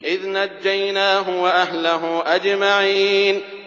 إِذْ نَجَّيْنَاهُ وَأَهْلَهُ أَجْمَعِينَ